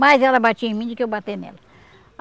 Mais ela batia em mim do que eu bater nela.